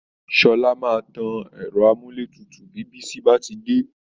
Sọla maa tan ẹ̀rọ amúlétutu bí Bísí bá ti dé